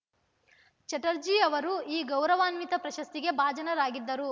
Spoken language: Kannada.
ಚಟರ್ಜಿ ಅವರು ಈ ಗೌರವಾನ್ವಿತ ಪ್ರಶಸ್ತಿಗೆ ಭಾಜನರಾಗಿದ್ದರು